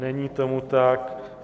Není tomu tak.